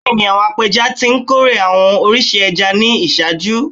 Bẹẹni, awọn apẹja ti nkore awọn oriṣi ẹja ni iṣaaju